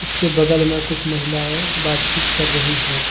उस के बगल में कुछ महिलाएं बातचीत कर रही हैं।